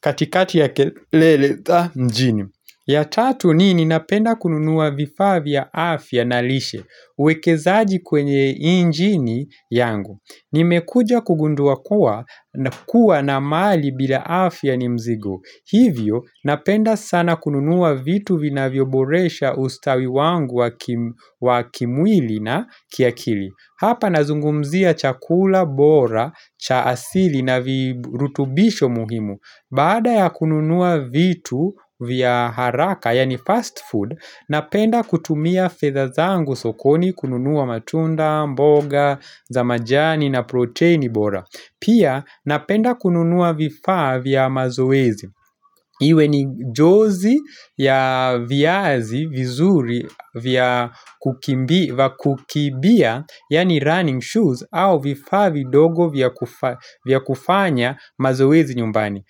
katikati ya kelele mjini. Ya tatu nini napenda kununua vifaa ya afya na lishe uwekezaji kwenye nchini yangu. Nimekuja kugundua kuwa na mali bila afya ni mzigo Hivyo napenda sana kununuwa vitu vina vioboresha ustawi wangu wa kimwili na kiakili Hapa nazungumzia chakula, bora, cha asili na virutubisho muhimu Baada ya kununua vitu vya haraka yani fast food Napenda kutumia fedha zangu sokoni kununua matunda, mboga, za majani na protein bora. Pia napenda kununua vifaa vya mazoezi. Iwe ni jozi ya viazi vizuri vya kukimbia yaani running shoes au vifaa vidogo vya kufanya mazoezi nyumbani.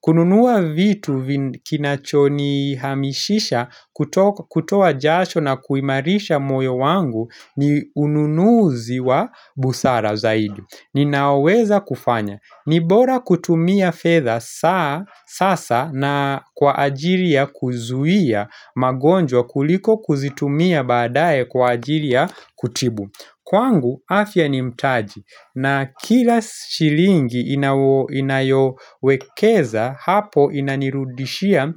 Kununua vitu kinachoni hamishisha kutoa jasho na kuimarisha moyo wangu ni ununuzi wa busara zaidi Ninaoweza kufanya Nibora kutumia fedha sasa na kwa ajiri ya kuzuia magonjwa kuliko kuzitumia baadae kwa ajiri ya kutibu Kwangu afya ni mtaji na kila shilingi inayowekeza hapo inanirudishia.